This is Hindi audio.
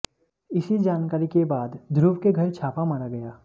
इसी जानकारी के बाद ध्रुव के घर छापा मारा गया